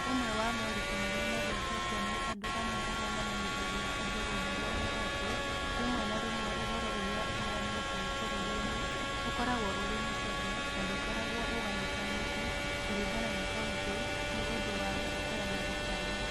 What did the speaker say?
Ũmwe wa moritũ marĩa magwetetwo nĩ andũ amwe arĩa mamenyithagia andũ ũhoro nĩ atĩ rĩmwe na rĩmwe ũhoro ũrĩa ũheanĩtwo bũrũri-inĩ ũkoragwo ũrĩ mũceke na ndũkoragwo ũgayũkanĩte kũringana na kaunti nĩ ũndũ wa gũtetera na kũbanga.